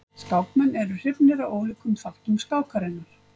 Skákmenn eru hrifnir af ólíkum þáttum skákarinnar.